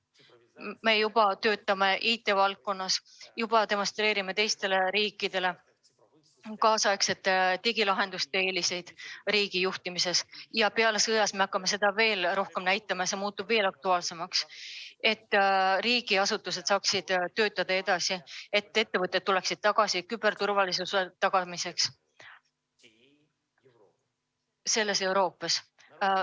Me töötame juba IT‑valdkonnas ja demonstreerime teistele riikidele tänapäevaste digilahenduste eeliseid riigijuhtimises ja pärast sõda me hakkame seda veel rohkem näitama ning see muutub veel aktuaalsemaks, et riigiasutused saaksid töötada ja ettevõtted tuleksid küberturvalisuse tagamiseks siia tagasi.